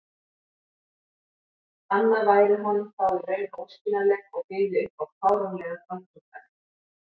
anna væri honum þá í raun óskiljanleg og byði upp á fáránlegar rangtúlkanir.